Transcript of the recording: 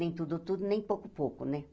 Nem tudo, tudo, nem pouco, pouco, né?